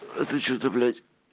а ты что-то блять